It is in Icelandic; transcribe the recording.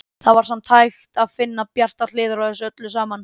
Það var samt hægt að finna bjartar hliðar á þessu öllu saman.